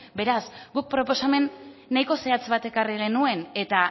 beraz guk proposamen nahiko zehatz bat ekarri genuen eta